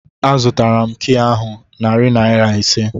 A zụtara m kịị ahụ narị naira ise